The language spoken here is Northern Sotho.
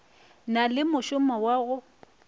na le mošomo wa go